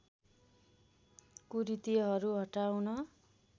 कुरीतिहरू हटाउन